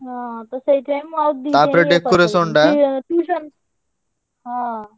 ହଁ ତ ସେଇଥିପାଇଁ ମୁଁ ଆଉ tuition ହଁ।